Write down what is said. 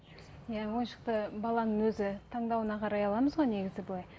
иә ойыншықты баланың өзі таңдауына қарай аламыз ғой негізі былай